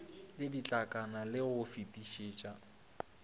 le ditlankana le go fetišetša